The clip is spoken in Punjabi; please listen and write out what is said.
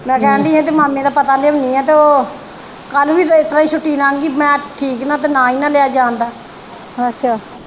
ਮੈ ਕਹਿਣ ਦੀ ਹੀ ਇਹਦੇ ਮਾਮੇ ਦਾ ਪਤਾ ਲਿਆਉਣੀ ਆ ਤੇ ਉਹ ਕੱਲ ਵੀ ਇਸਤਰਾਂ ਛੁੱਟੀ ਨੰਗ ਗਈ ਮੈ ਠੀਕ ਨਾ ਤੇ ਨਾ ਈ ਨਾ ਲਿਆ ਜਾਣਦਾ